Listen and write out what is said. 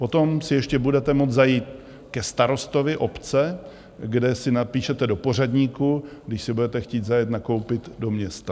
Potom si ještě budete moct zajít ke starostovi obce, kde se napíšete do pořadníku, když si budete chtít zajet nakoupit do města.